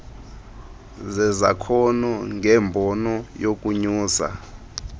zezakhono ngembono yokunyusa